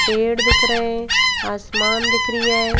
पेड़ दिख रहे हैं आसमान दिख रिया है।